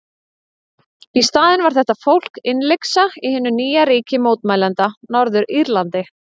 Í staðinn var þetta fólk innlyksa í hinu nýja ríki mótmælenda, Norður-Írlandi.